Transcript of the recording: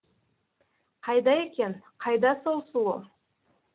қайда екен қайда сол сұлу